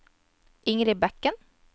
Ingrid Bekken